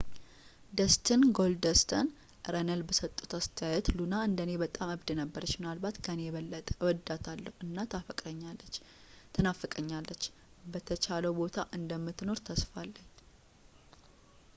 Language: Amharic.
ደስቲን ጎልደስት” ረነልስ በሰጡት አስተያየት ሉና እንደ እኔ በጣም እብድ ነበረች ምናልባት ከኔ የበለጠ እወዳታለሁ እና ትናፍቀኛለች በተሻለው ቦታ እንደምትኖር ተስፋ አለን።